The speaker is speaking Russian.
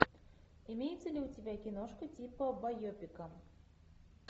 имеется ли у тебя киношка типа байопика